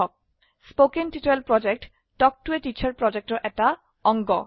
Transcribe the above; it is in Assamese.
কথন শিক্ষণ প্ৰকল্প তাল্ক ত a টিচাৰ প্ৰকল্পৰ এটা অংগ